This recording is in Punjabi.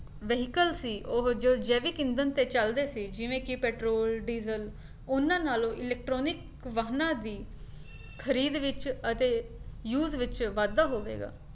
vehicle ਸੀ ਉਹ ਜੋ ਜੈਵਿਕ ਇੰਦਣ ਤੇ ਚਲਦੇ ਸੀ ਜਿਵੇਂ ਕੀ ਪੈਟਰੋਲ, ਡੀਜ਼ਲ ਉਹਨਾਂ ਨਾਲੋਂ electronic ਵਾਹਨਾਂ ਦੀ ਖਰੀਦ ਵਿੱਚ ਅਤੇ use ਵਿੱਚ ਵਾਧਾ ਹੋਵੇਗਾ